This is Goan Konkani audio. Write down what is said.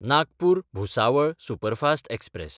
Nagpur-Bhusawal superfast express